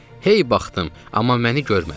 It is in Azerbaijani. Hey baxdım, amma məni görmədi.